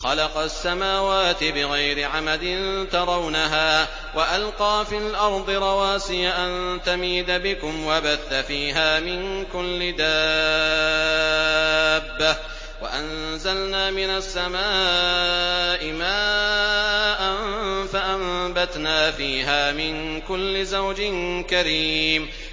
خَلَقَ السَّمَاوَاتِ بِغَيْرِ عَمَدٍ تَرَوْنَهَا ۖ وَأَلْقَىٰ فِي الْأَرْضِ رَوَاسِيَ أَن تَمِيدَ بِكُمْ وَبَثَّ فِيهَا مِن كُلِّ دَابَّةٍ ۚ وَأَنزَلْنَا مِنَ السَّمَاءِ مَاءً فَأَنبَتْنَا فِيهَا مِن كُلِّ زَوْجٍ كَرِيمٍ